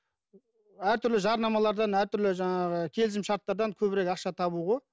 әртүрлі жарнамалардан әртүрлі жаңағы келісім шарттардан көбірек ақша табу ғой